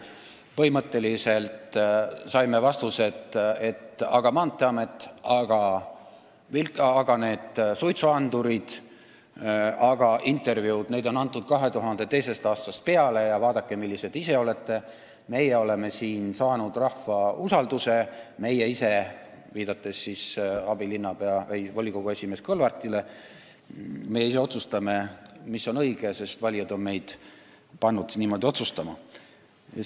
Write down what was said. Põhimõtteliselt saime selliseid vastuseid: aga Maanteeamet ja suitsuandurid, intervjuusid on PBK-le antud 2002. aastast peale, vaadake, millised te ise olete, meie oleme saavutanud rahva usalduse ja meie ise – viidates volikogu esimehele Kõlvartile – otsustame, mis on õige, sest valijad on meid otsustama pannud.